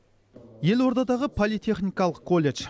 елордадағы политехникалық колледж